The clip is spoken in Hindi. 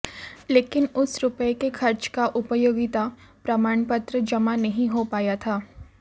लेकिन उस रुपये के खर्च का उपयोगिता प्रमाण पत्र जमा नहीं हो पाया था